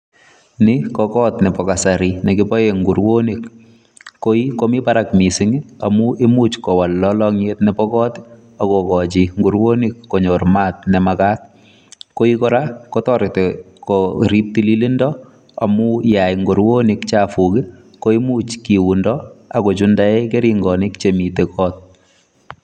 Ni ko kot nebo kasari ne kiboen nguronik, koi komi barak mising amun imuch kowal lolong'yet nebo koot ak kogochi nguronik konyor maat ne magaat. Koi kora kotoreti korib tililindo amun ye yai nguronik chafuk ko imuch kiundo ak kochundaen keringonik chemiten koot.